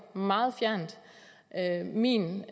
meget fjernt at mene